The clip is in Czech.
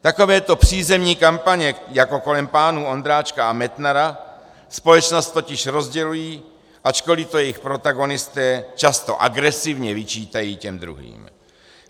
Takovéto přízemní kampaně jako kolem pánů Ondráčka a Metnara společnost totiž rozdělují, ačkoliv to jejich protagonisté často agresivně vyčítají těm druhým.